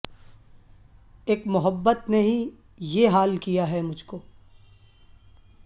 اک محبت نے ہی بے حال کیا ہے مجھ کو